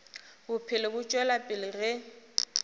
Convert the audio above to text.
bophelo bo tšwela pele ge